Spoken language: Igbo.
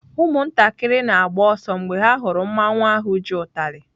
Ụmụntakịrị na-agba ọsọ mgbe ha hụrụ mmanwụ ahu ji utalị.